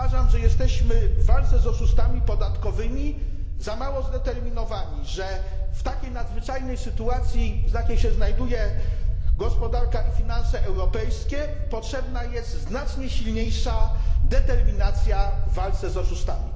Uważam, że jesteśmy w walce z oszustami podatkowymi za mało zdeterminowani, że w takiej nadzwyczajnej sytuacji, w jakiej się znajduje gospodarka i finanse europejskie, potrzebna jest znacznie silniejsza determinacja w walce z oszustami.